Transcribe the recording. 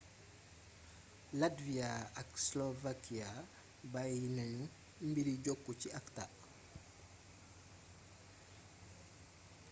latvia ak slovakia bayyi nañu mbiri jokku ci acta